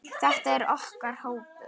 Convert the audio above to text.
Þetta er okkar hópur.